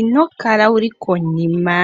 Inokala wuli konima